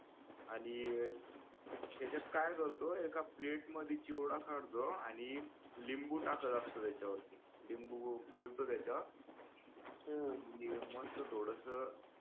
आणि त्याच्यात काय करतो एका plate मध्ये चिवडा काढतो आणि लिंबू टाकत असतो त्याच्यावरती लिंबू पिळतो त्याच्यावर आणि मस्त थोडस